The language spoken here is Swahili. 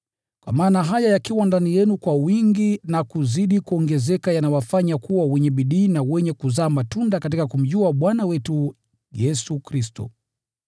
Kwa maana haya yakiwa ndani yenu kwa wingi na kuzidi kuongezeka, yanawasaidia msikose bidii wala kutozaa matunda katika kumjua Bwana wetu Yesu Kristo.